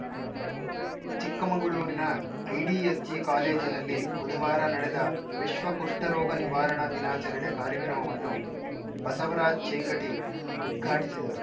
ಚಿಕ್ಕಮಗಳೂರಿನ ಐಡಿಎಸ್‌ಜಿ ಕಾಲೇಜಿನಲ್ಲಿ ಬುಧವಾರ ನಡೆದ ವಿಶ್ವ ಕುಷ್ಠರೋಗ ನಿವಾರಣಾ ದಿನಾಚಾರಣೆ ಕಾರ್ಯಕ್ರಮವನ್ನು ಬಸವರಾಜ್‌ ಚೇಂಗಟಿ ಉದ್ಘಾಟಿಸಿದರು